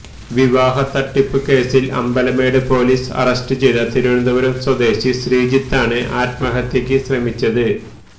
വിവാഹ തട്ടിപ്പ് കേസിൽ അമ്പലമേട് പൊലീസ് അറസ്റ്റ് ചെയ്ത തിരുവനന്തപുരം സ്വദേശി ശ്രീജിത്താണ് ആത്മഹത്യക്ക് ശ്രമിച്ചത്